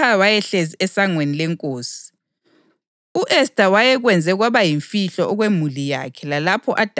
Kwathi izintombi ezigcweleyo sezihlangene okwesibili, uModekhayi wayehlezi esangweni lenkosi.